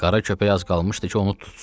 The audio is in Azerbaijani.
Qara köpək az qalmışdı ki, onu tutsun.